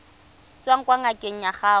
tswang kwa ngakeng ya gago